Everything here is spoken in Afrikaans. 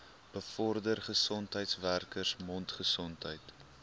bevorder gesondheidswerkers mondgesondheid